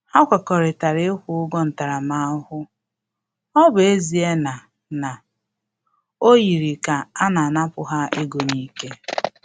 Ha kwekọrịtara ịkwụ ụgwọ ntaramahụhụ, ọ bụ ezie na na ọ yiri ka a na-anapu ha ego n'ike